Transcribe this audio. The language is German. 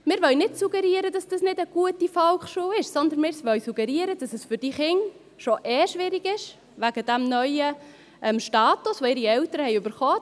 Wir wollen nicht suggerieren, dass dies keine gute Volksschule ist, sondern wir wollen suggerieren, dass es für diese Kinder sowieso schon schwierig ist, wegen dem neuen Status, den ihre Eltern bekommen haben.